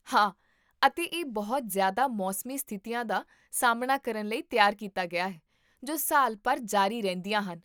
ਹਾਂ, ਅਤੇ ਇਹ ਬਹੁਤ ਜ਼ਿਆਦਾ ਮੌਸਮੀ ਸਥਿਤੀਆਂ ਦਾ ਸਾਹਮਣਾ ਕਰਨ ਲਈ ਤਿਆਰ ਕੀਤਾ ਗਿਆ ਹੈ ਜੋ ਸਾਲ ਭਰ ਜਾਰੀ ਰਹਿੰਦੀਆਂ ਹਨ